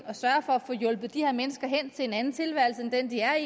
at sørge for at få hjulpet de her mennesker hen til en anden tilværelse end den de er